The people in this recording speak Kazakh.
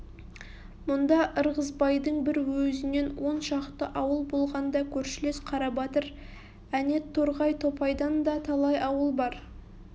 мұнда ырғызбайдың бір өзінен он шақты ауыл болғанда көршілес қарабатыр әнет торғай топайдан да талай ауыл бар